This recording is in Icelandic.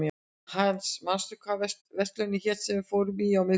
Hans, manstu hvað verslunin hét sem við fórum í á miðvikudaginn?